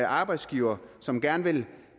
arbejdsgivere som gerne vil